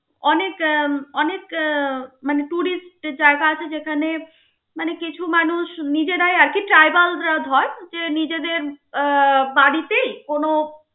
অনেক অনেক মানে tourist এর জায়গা আছে যেখানে, মানে কিছু মানুষ নিজেরাই আরকি যে নিজেদের আহ বাড়িতেই কোনো